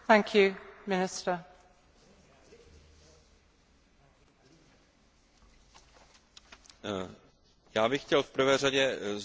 Já bych chtěl v prvé řadě zdůraznit, že dlouhodobý cíl je řešení formou směrnice nebo mnohostranné smlouvy.